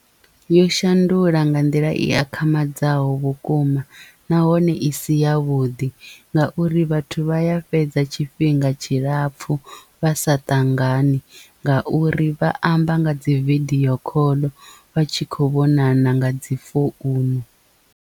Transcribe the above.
Yo shandula nga nḓila i akhamadzaho vhukuma nahone i si ya vhuḓi ngauri vhathu vha ya fhedza tshifhinga tshilapfu vha sa ṱangani ngauri vha amba nga dzi video call vha tshi khou vhonana nga dzi founu.